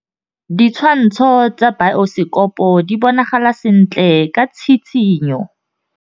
Ditshwantshô tsa biosekopo di bonagala sentle ka tshitshinyô.